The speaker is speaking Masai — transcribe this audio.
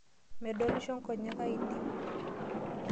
Medolisho nkonyek ainei.